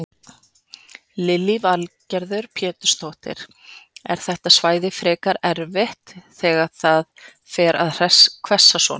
Lillý Valgerður Pétursdóttir: Er þetta svæði frekar erfitt þegar það fer að hvessa svona?